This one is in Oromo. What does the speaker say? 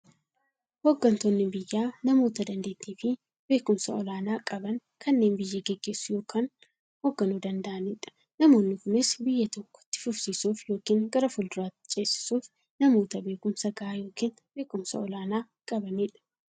Hooggantoonni biyyaa namoota daanteettiifi beekumsa olaanaa qaban, kanneen biyya gaggeessuu yookiin hoogganuu danda'aniidha. Namoonni kunis, biyya tokko itti fufsiisuuf yookiin gara fuulduraatti ceesisuuf, namoota beekumsa gahaa yookiin beekumsa olaanaa qabaniidha.